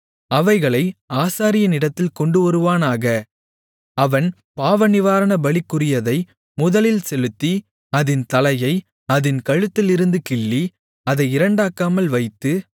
அவைகளை ஆசாரியனிடத்தில் கொண்டுவருவானாக அவன் பாவநிவாரணபலிக்குரியதை முதலில் செலுத்தி அதின் தலையை அதின் கழுத்திலிருந்து கிள்ளி அதை இரண்டாக்காமல் வைத்து